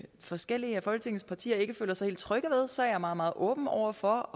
forskellige af folketingets partier ikke føler sig helt trygge ved så er jeg meget meget åben over for